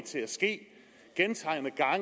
til at ske